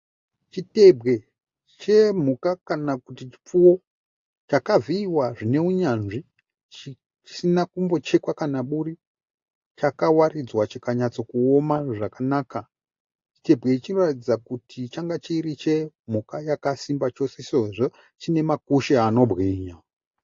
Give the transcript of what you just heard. Chitehwe chimhuka kana kuti chipfuyo chakavhiyiwa zvine unyanzwi chisina kumbochekwa kana buri, chakawarinzwa chikanyatsooma zvakanaka. Chitebwe ichi chinoratidza kuti changa chiri chemhuka yakasimba chose sezvo chiine makushe anobwinya.